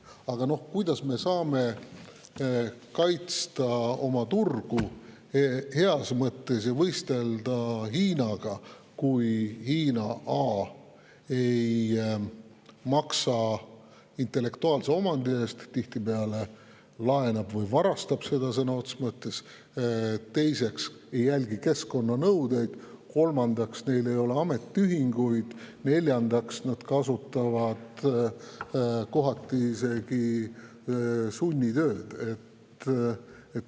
Aga kuidas me saame heas mõttes kaitsta oma turgu ja võistelda Hiinaga, kui Hiina esiteks ei maksa tihtipeale intellektuaalse omandi eest, vaid sõna otseses mõttes laenab või varastab seda; teiseks ei jälgi keskkonnanõudeid; kolmandaks, neil ei ole ametiühinguid; ja neljandaks, nad kasutavad kohati isegi sunnitööd?